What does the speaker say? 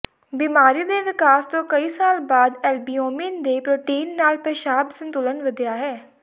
ਬੀਮਾਰੀ ਦੇ ਵਿਕਾਸ ਤੋਂ ਕਈ ਸਾਲ ਬਾਅਦ ਐਲਬਿਊਮਿਨ ਦੀ ਪ੍ਰੋਟੀਨ ਨਾਲ ਪੇਸ਼ਾਬ ਸੰਤੁਲਨ ਵਧਿਆ ਹੈ